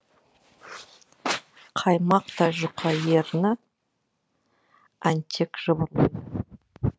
қаймақтай жұқа ерні әнтек жыбырлайды